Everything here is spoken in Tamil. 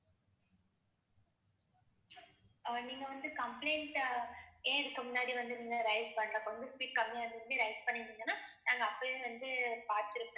ஆஹ் நீங்க வந்து complaint ஏன் இதுக்கு முன்னாடி வந்து நின்னு raise பண்ண கொஞ்சம் speak கம்மியா இருந்தது raise பண்ணிருந்திங்கன்னா நாங்க அப்பவே வந்து பார்த்திருப்போம்.